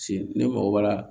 Cnɛ mɔgɔ b'a la